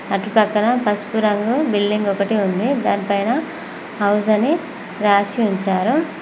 అటు పక్కన పసుపు రంగు బిల్లింగ్ ఒకటి ఉంది దానిపైన హౌస్ అని రాసి ఉంచారు.